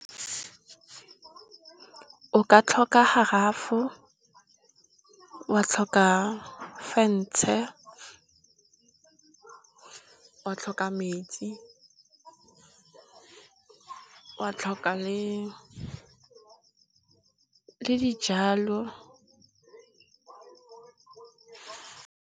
O ka tlhoka garafo, wa tlhoka fentshe, wa tlhoka metsi, wa tlhoka le dijalo.